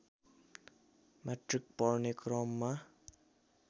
matric पढ्ने क्रममा